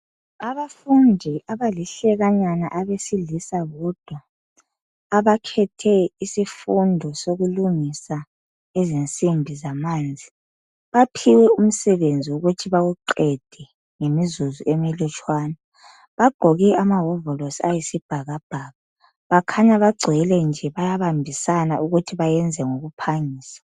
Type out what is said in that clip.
Abafundi abalihlekanyana abesilisa bodwa, abakhethe isifundo sokulungisa izinsimbi zamanzi. Baphiwe umsebenzi wokuthi bawuqede ngemizuzu emilutshwane. Bagqoke amawovolosi ayisibhakabhaka. Bakhanya bagcwele nje bayabambisana ukuthi bayenze ngokuphangisa.